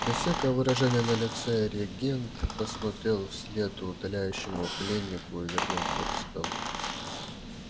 без всякого выражения на лице регент посмотрел вслед удаляющему пленнику и вернулся к столу